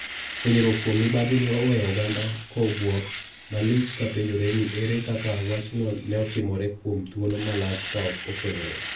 Fwenyruok kuom mibadhi ne oweyo oganda ko buok malich ka penjore ni ere kaka wachno neotimore kuom thuolo malach kaok ofwenyore